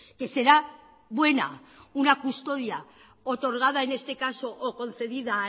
que será buena una custodia otorgada en este caso o concedida